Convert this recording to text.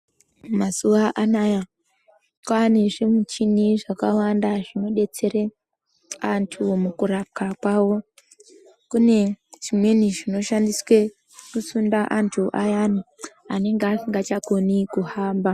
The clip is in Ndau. Mazuva anaya kwane zvimuchini zvakawanda zvinodetsere antu mukurapwa kwawo kune zvimweni zvino shandiswe kusunda antu ayani anenge as ingachagone kuhamba.